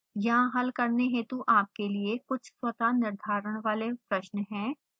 यहाँ हल करने हेतु आपके लिए कुछ स्वतः निर्धारण वाले प्रश्न हैं